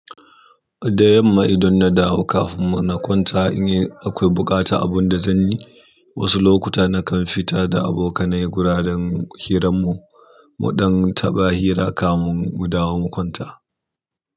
Da yamma idan na dawo kafin mu na kwanta in yi akwai buƙata abun da zan yi, wasu lokuta na kan fita da abokanai gudan hiran mu, muɗan taɓa hira kamun mu dawo mu kwanta.